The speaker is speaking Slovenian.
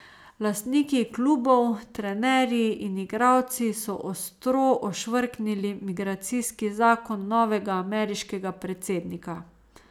Lastniki klubov, trenerji in igralci so ostro ošvrknili migracijski zakon novega ameriškega predsednika.